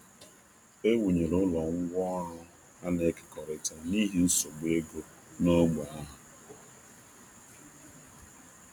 A rụnyere ụlọ ngwá ọrụ nke onye ọbụla n'ekekọta ọnụ iji dozie nsogbu ọnụ ahịa dị elu n’ógbè ahụ.